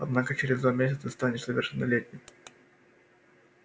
однако через два месяца станешь совершеннолетним